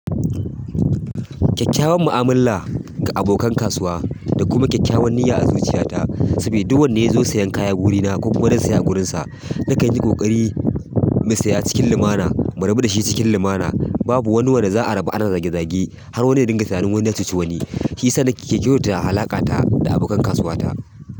Kyakkyawan mu'amala ga abokan kasuwa da kuma kyakkyawan niyya a zuciyata saboda duk wanda ya zo sayan kaya wurina ko kuma don saya a wurinsa, na kan yi ƙoƙari mu saya cikin limana. Mu rabu dashi cikin limana, babu wani wanda babu wani wanda za'a rabu ana zage zage, har wani ya ringa tinanin wani ya cuci wani. Shi yasa na ke kyautata alaƙata da abokan kasuwa ta.